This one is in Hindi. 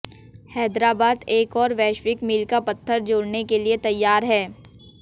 हैदराबाद एक और वैश्विक मील का पत्थर जोड़ने के लिए तैयार है